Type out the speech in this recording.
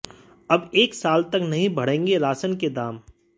अब एक साल तक नहीं बढ़ेंगे राशन के दाम